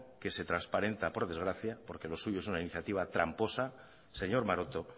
que se transparenta por desgracia porque lo suyo es una iniciativa tramposa señor maroto